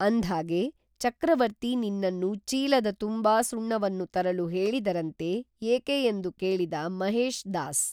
ಅಂದ್ಹಾಗೆ ಚಕ್ರವರ್ತಿ ನಿನ್ನನ್ನು ಚೀಲದ ತುಂಬಾ ಸುಣ್ಣವನ್ನು ತರಲು ಹೇಳಿದರಂತೆ ಏಕೆ ಎಂದು ಕೇಳಿದ ಮಹೇಶ್ ದಾಸ್